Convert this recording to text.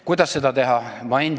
Kuidas seda teha?